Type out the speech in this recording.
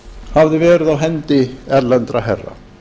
hafði verið á hendi erlendra herra